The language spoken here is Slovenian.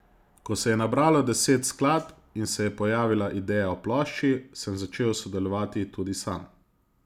Ko se je nabralo deset skladb in se je pojavila ideja o plošči, sem začel sodelovati tudi sam.